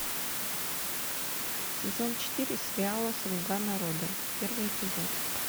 сезон четыре сериала слуга народа первый эпизод